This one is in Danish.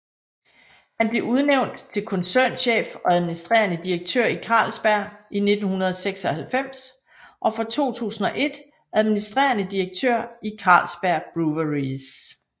Han blev udnævnt til koncernchef og administrerende direktør i Carlsberg i 1996 og fra 2001 administrerende direktør i Carlsberg Breweries